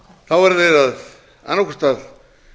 þá verðum við annað hvort að